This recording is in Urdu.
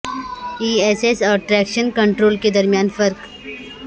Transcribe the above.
ای ایس ایس اور ٹریکشن کنٹرول کے درمیان فرق